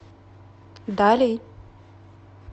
дали